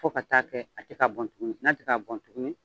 Fo ka taa kɛ a ti ka bɔn tuguni, n'a ti ka bɔn tuguni